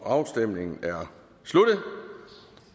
afstemningen er sluttet